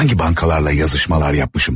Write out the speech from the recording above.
Hansı bankalarla yazışmalar yapmışam?